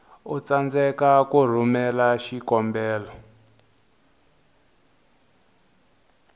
u tsandzeka ku rhumela xikombelo